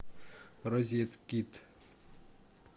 розеткид